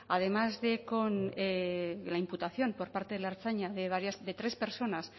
además de con la imputación por parte de la ertzaintza de varias de tres personas